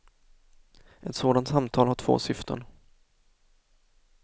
Ett sådant samtal har två syften.